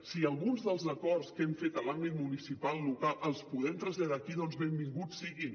si alguns dels acords que hem fet a l’àmbit municipal local els podem traslladar aquí doncs benvinguts siguin